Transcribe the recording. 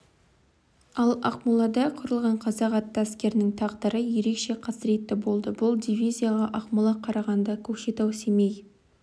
ал ақмолада құрылған қазақ атты әскерінің тағдыры ерекше қасіретті болды бұл дивизияға ақмола қарағанды көкшетау семей